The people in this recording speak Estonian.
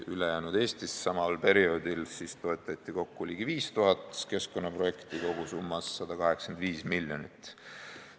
Ülejäänud Eestis toetati samal perioodil kokku ligi 5000 keskkonnaprojekti, kogusummas 185 miljonit.